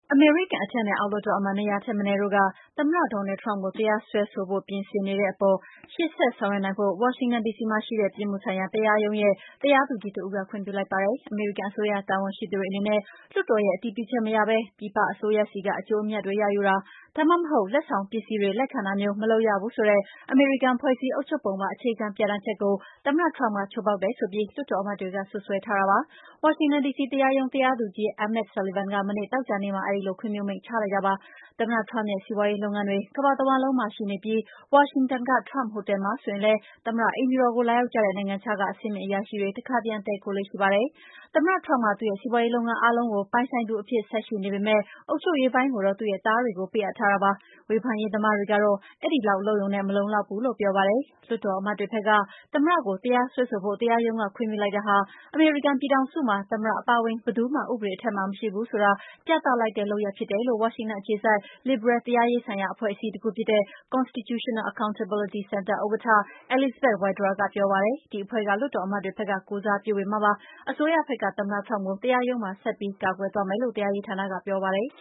အမေရိကန် အထက်နဲ့အောက် လွှတ်တော်အမတ် ၂၀၀ ထက်မနည်းက သမ္မတ Donald Trump ကို တရားစွဲ ဆိုဖို့ ပြင်ဆင်နေတဲ့အပေါ် ရှေ့ဆက် ဆောင်ရွက်နိုင်ဖို့ ဝါရှင်တန် ဒီစီမှာရှိတဲ့ ပြစ်မှု ဆိုင်ရာ တရားရုံးရဲ့ တရားသူကြီးတဦးက ခွင့်ပြုလိုက်ပါတယ်။ အမေရိကန်အစိုးရတာဝန်ရှိသူတွေအနေနဲ့ လွတ်တော်ရဲ့ အတည်ပြုချက်မရဘဲ ပြည်ပအစိုးရဆီက အကျိုး အမြတ်တွေရယူတာ၊ ဒါမှမဟုတ် လက်ဆောင်ပစ္စည်းတွေလက်ခံတာမျိုးကို မလုပ်ရဘူးဆိုတဲ့ အမေရိကန် ဖွဲ့စည်းအုပ်ချုပ်ပုံပါ အခြေခံပြဌာန်းချက်ကို သမ္မတ Trump က ချိုးဖောက်တယ်ဆိုပြီး လွှတ်တော်အမတ်တွေက စွပ်စွဲထားပါတယ်။ ဝါရှင်တန်ဒီစီ တရားရုံး တရားသူကြီး Emmet Sullivan က မနေ့ သောကြာနေ့မှာ အဲဒီလို ခွင့်ပြုမိန့်ချလိုက်တာပါ။ သမ္မတ Trump ရဲ့စီးပွါးရေးလုပ်ငန်းတွေ ကမ္ဘာတဝှမ်းလုံးမှာ ရှိနေပြီး ဝါရှင်တန်က Trump ဟိုတယ် မှာ ဆိုရင် လည်း သမ္မတ အိမ်ဖြူတော်ကို လာရောက်ကြတဲ့ နိုင်ငံခြားက အဆင့်မြင့်အရာရှိတွေ တခါတရံ တည်းခိုလေ့ ရှိပါတယ်။ သမ္မတ Trump က သူ့ရဲ့စီးပွါးရေးလုပ်ငန်းအားလုံးကို ပိုင်ဆိုင်သူ အဖြစ် ဆက်ရှိနေပေမယ့် အုပ်ချုပ်ရေးပိုင်းကိုတော့ သူ့ရဲ့သားတွေကို ပေးအပ်ထားတာပါ။ ဝေဖန်ရေးသမားတွေကတော့ အဲဒီလောက် လုပ်ရုံနဲ့ မလုံလောက်ဘူးလို့ ပြောပါတယ်။ လွှတ်တော်အမတ်တွေဘက်က သမ္မတကို တရားစွဲဆိုဖို့ တရားရုံးက ခွင့်ပြုလိုက်တာဟာ အမေရိကန် ပြည် ထောင်စုမှာ သမ္မတ အပါအဝင် ဘယ်သူမှ ဥပဒေအထက်မှာ မရှိဘူးဆိုတာ ပြသလိုက်တဲ့ လုပ်ရပ် ဖြစ်တယ်လို့ ဝါရှင်တန်အခြေစိုက် လစ်ဘရယ် တရားရေးဆိုင်ရာ အဖွဲ့အစည်းတခုဖြစ်တဲ့ Constitutional Accountability Center ဥက္ကဋ္ဌ Elizabeth Wydra က ပြောပါတယ်။ ဒီအဖွဲ့က လွှတ်တော်အမတ်တွေဘက်က ကိုယ်စားပြုပေးမှာဖြစ်ပါတယ်။ အစိုးရဘက်ကသမ္မတ Trump ကို တရားရုံးမှာ ဆက်ပြီး ကာကွယ်သွားမယ်လို့ တရားရေးဌာနကပြောပါတယ်